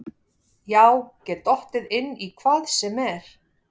Já get dottið inn í hvað sem er.